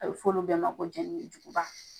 A bɛ fɔ olu de ma ko jɛnikojuguba.